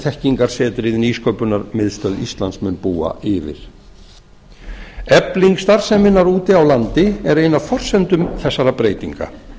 þekkingarsetrið nýsköpunarmiðstöð íslands mun búa yfir efling starfseminnar úti á landi er ein af forsendum þessara breytinga